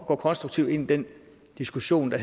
gå konstruktivt ind i den diskussion der